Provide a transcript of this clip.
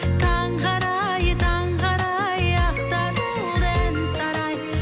таңғы арай таңғы арай ақтарылды ән сарай